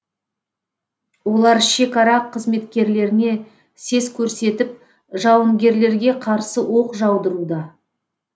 олар шекара қызметкерлеріне сес көрсетіп жауынгерлерге қарсы оқ жаудыруда